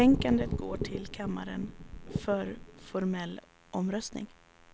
Betänkandet går till kammaren för formell omröstning.